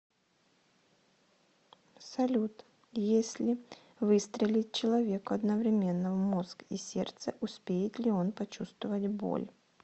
салют если выстрелить человеку одновременно в мозг и сердце успеет ли он почувствовать боль